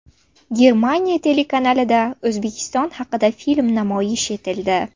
Germaniya telekanalida O‘zbekiston haqida film namoyish etildi.